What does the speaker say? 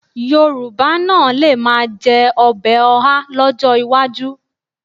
Yorùbá náà lè máa jẹ ọbẹ̀ ọhá lọ́jọ́ iwájú